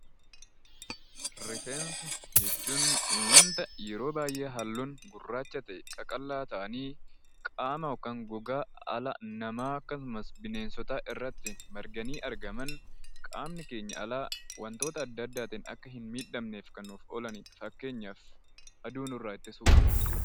Rifeensa jechuun waanta yeroo baay'ee halluun gurraacha ta'e, qaqallaa ta'anii qaama yookaan gogaa dhala namaa akkasumas bineensotaa irratti marganii argaman qaamni keenya alaa wantoota adda addaatiin akka hin miidhamneef kan nuuf oolanidha. Fakkeenyaaf aduu nurraa ittisuu.